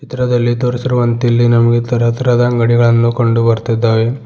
ಚಿತ್ರದಲ್ಲಿ ತೋರಿಸಿರುವಂತೆ ಇಲ್ಲಿ ನಮಗೆ ತರ ತರದ ಅಂಗಡಿಗಳನ್ನು ಕಂಡು ಬರ್ತಿದ್ದಾವೆ.